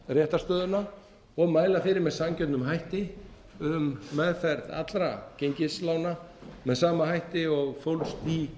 réttarstöðuna og mæla fyrir með sanngjörnum hætti um meðferð allra gengislána með sama hætti og fólst í